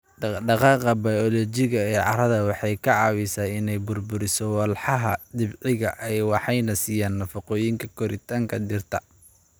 Dhaqdhaqaaqa bayoolojiga ee carrada waxay ka caawisaa inay burburiso walxaha dabiiciga ah waxayna siiyaan nafaqooyinka koritaanka dhirta.